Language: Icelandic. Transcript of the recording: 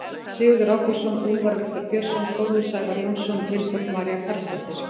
Sigurður Ágústsson, Úlfar Viktor Björnsson, Þórður Sævar Jónsson, Vilborg María Carlsdóttir.